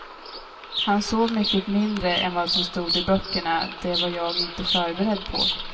Han sov mycket mindre än vad som stod i böckerna, det var jag inte förberedd på.